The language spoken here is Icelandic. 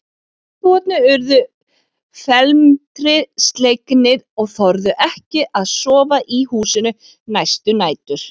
Íbúarnir urðu felmtri slegnir og þorðu ekki að sofa í húsinu næstu nætur.